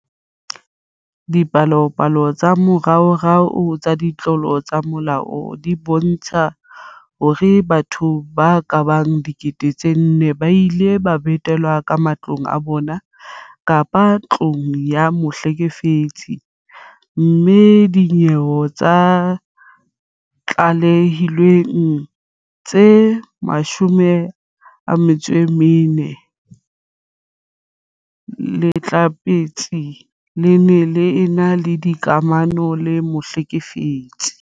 Dipalopalo tsa moraorao tsa ditlolo tsa molao di bontsha hore batho ba ka bang 4 000 ba ile ba betelwa ka matlong a bona kapa ntlong ya mohlekefetsi, mme ho dinyewe tse tlalehilweng tse 400, lehlatsipa le ne le ena le dikamano le mohlekefetsi.